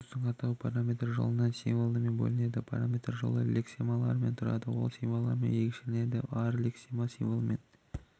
ресурстың атауы параметрлер жолынан символымен бөлінеді параметрлер жолы лексемалардан тұрады ол символымен ерекшелінеді әр лексема символымен